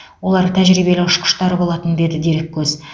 олар тәжірибелі ұшқыштар болатын деді дереккөз